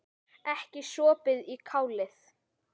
Ekki sopið í kálið.